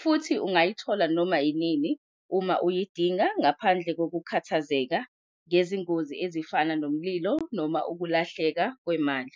Futhi ungayithola noma inini uma uyidinga ngaphandle ngokukhathazeka ngezingozi ezifana nomlilo noma ukulahleka kwemali.